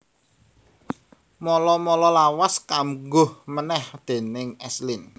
Mala mala lawas kambuh manèh déning S Lin